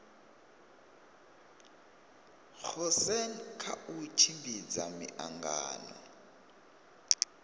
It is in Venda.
goosen kha u tshimbidza miangano